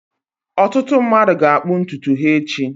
Ọtụtụ mmadụ ga-akpụ ntutu ha echi.